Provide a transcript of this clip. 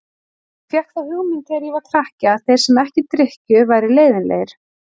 Ég fékk þá hugmynd þegar ég var krakki að þeir sem ekki drykkju væru leiðinlegir.